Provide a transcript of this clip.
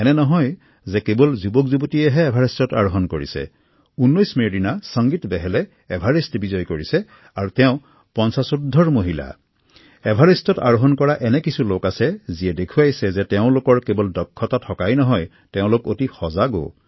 এনে নহয় যে কেৱল যুৱকযুৱতীয়েহে এভাৰেষ্ট আৰোহন কৰিছে ১৯ মেৰ দিনা ৫০ উৰ্ধৰ মহিলা সংগীত বেহেলেও এভাৰেষ্ট জয় কৰিবলৈ সক্ষম হয়